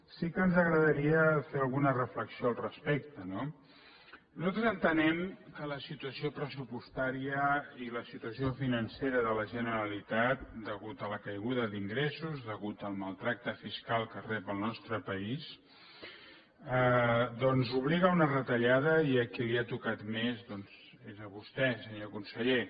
sí que ens agradaria fer alguna reflexió al respecte no nosaltres entenem que la situació pressupostària i la situació financera de la generalitat degudes a la caiguda d’ingressos degudes al mal tracte fiscal que rep el nostre país doncs obliga a una retallada i a qui li ha tocat més doncs és a vostè senyor conseller